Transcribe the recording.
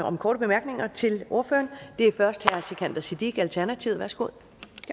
om korte bemærkninger til ordføreren det er først herre sikandar siddique alternativet værsgo